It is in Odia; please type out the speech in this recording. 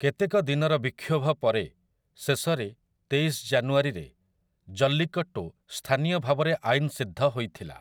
କେତେକ ଦିନର ବିକ୍ଷୋଭ ପରେ, ଶେଷରେ, ତେଇଶ ଜାନୁଆରୀରେ 'ଜଲ୍ଲିକଟ୍ଟୁ' ସ୍ଥାନୀୟ ଭାବରେ ଆଇନସିଦ୍ଧ ହୋଇଥିଲା ।